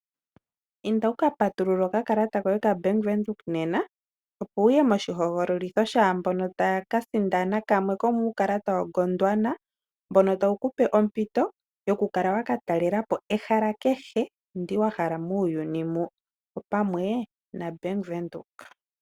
Inda wuka patulule okakalata koye kaBank Windhoek nena, opo wuye moshihogololitho shaambono taya kasindana kamwe komuukalata waGodwana, mbono tawu kupe ompito yokukala wakatalelapo ehala kehe, opamwe nombaanga yaBank Windhoek.